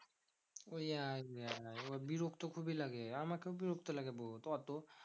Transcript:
ওই আই বিরক্ত খুবই লাগে আমাকেও বিরিক্ত লাগে বহুত। অত